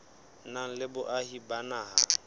nang le boahi ba naha